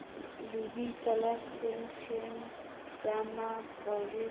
lebitso la seteishene sa mapolesa